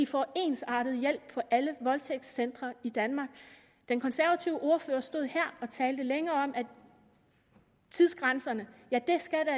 får ensartet hjælp på alle voldtægtscentre i danmark den konservative ordfører stod her og talte længe om at tidsgrænserne